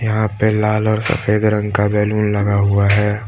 यहां पे लाल और सफेद रंग का बैलून लगा हुआ है।